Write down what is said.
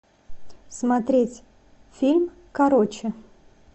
смотреть фильм короче